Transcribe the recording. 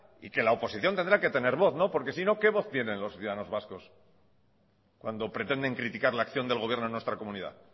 y que la oposición tendrá que tener voz porque si no qué voz tienen los ciudadanos vascos cuando pretenden criticar la acción del gobierno en nuestra comunidad